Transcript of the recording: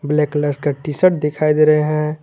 Black colour का T shirt दिखाई दे रहे हैं।